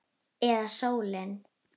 Eða sólin?